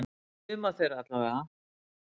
Suma þeirra allavega.